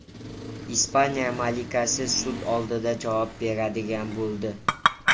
Ispaniya malikasi sud oldida javob beradigan bo‘ldi.